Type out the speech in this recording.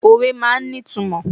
Òwe máa ń ní ìtumọ̀.